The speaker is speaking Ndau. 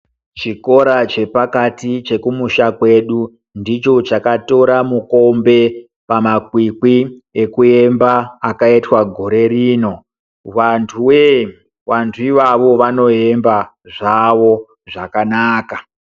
Chikora chepakati chekumusha kwedu, ndicho chakatora mukombe pamakwikwi ekuemba akaitwa gore rino, vantu wee vantu ivavo vanoemba zvavo zvakanaka.